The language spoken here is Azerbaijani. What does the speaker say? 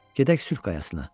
Gedək sülh qayasına.